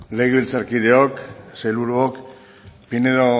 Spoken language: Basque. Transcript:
legebiltzarkideok sailburuok pinedo